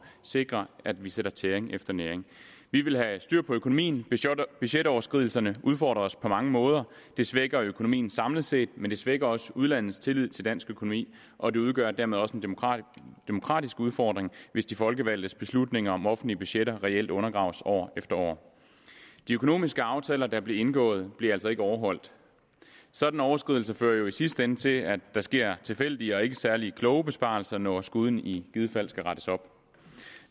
sikre at vi sætter tæring efter næring vi vil have styr på økonomien budgetoverskridelserne udfordrer os på mange måder de svækker økonomien samlet set men de svækker også udlandets tillid til dansk økonomi og det udgør dermed også en demokratisk demokratisk udfordring hvis de folkevalgtes beslutninger om offentlige budgetter reelt undergraves år efter år de økonomiske aftaler der blev indgået blev altså ikke overholdt sådanne overskridelser fører jo i sidste ende til at der sker tilfældige og ikke særlig kloge besparelser når skuden i givet fald skal rettes op